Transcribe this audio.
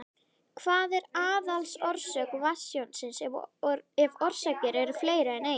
Hver er aðalorsök vatnstjónsins, ef orsakir eru fleiri en ein?